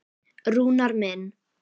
Rúnar minn.